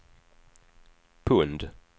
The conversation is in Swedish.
pund